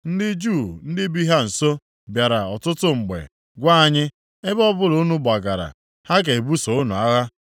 Ndị Juu ndị bi ha nso bịara ọtụtụ mgbe gwa anyị, “Ebe ọbụla unu gbagara, ha ga-ebuso unu agha.”